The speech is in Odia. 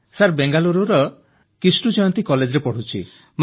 ସାର୍ ବେଙ୍ଗାଲୁରୁର କ୍ରିଷ୍ଟୁଜୟନ୍ତୀ କଲେଜରେ ପଢ଼ୁଛି